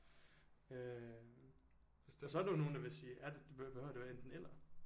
Øh hvis så er der jo nogen der vil sige er det behøver det være enten eller